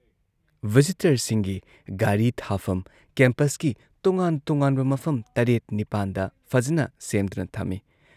ꯚꯤꯖꯤꯇꯔꯁꯤꯡꯒꯤ ꯒꯥꯔꯤ ꯊꯥꯐꯝ ꯀꯦꯝꯄꯁꯀꯤ ꯇꯣꯉꯥꯟ ꯇꯣꯉꯥꯟꯕ ꯃꯐꯝ ꯇꯔꯦꯠ ꯅꯤꯄꯥꯟꯗ ꯐꯖꯅ ꯁꯦꯝꯗꯨꯅ ꯊꯝꯏ ꯫